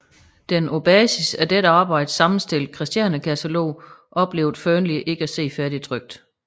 Den på basis af dette arbejde sammenstillede Kristiania katalog oplevede Fearnley ikke at se færdigtrykt